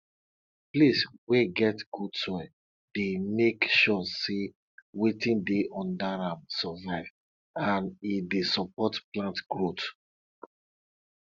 dey check de breast of animal if wound de am or if em dey swell before you collect milk um from the animal body